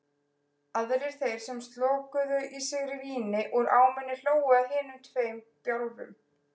Aðrir þeir sem slokuðu í sig víni úr ámunni hlógu að hinum tveim bjálfum.